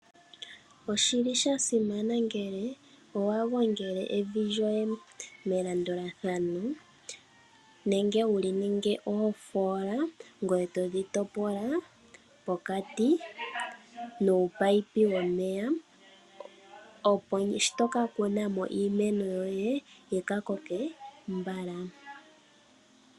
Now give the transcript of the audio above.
Oshili sha simana ngele owa gongele evi lyoye melandulathano nenge wu ninge oofoola ngoye todhi topola pokati nuupayipi womeya opo shi toka kuna mo iimino yoye yika mene mbala.